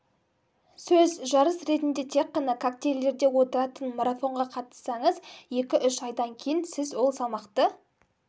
сөз жарыс ретінде тек қана коктейльдерде отыратын марафонға қатыссаңыз екі-үш айдан кейін сіз ол салмақты